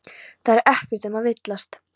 Það er ekkert um að villast.